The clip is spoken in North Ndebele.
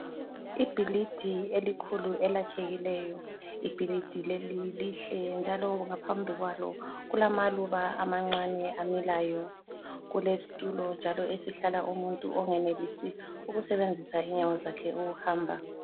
Ibhilidi elikhulu elakhekileyo, ibhilidi leli lihle njalo ngaphambi kwalo kulamaluba amancane amilayo, kulesitulo njalo esihlala umuntu ongenelisi ukusebenzisa inyawo zakhe ukuhamba.